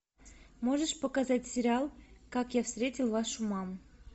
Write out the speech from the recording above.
можешь показать сериал как я встретил вашу маму